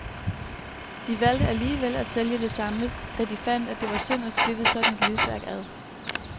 De valgte alligevel at sælge det samlet, da de fandt, at det var synd at splitte sådan et livsværk ad.